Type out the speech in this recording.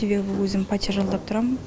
себебі өзім пәтер жалдап тұрамын